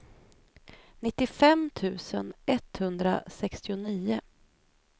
nittiofem tusen etthundrasextionio